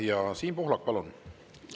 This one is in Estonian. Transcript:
Ja Siim Pohlak, palun!